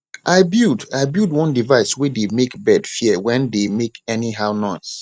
i build i build one device way dey make bird fear when dey make anyhow noise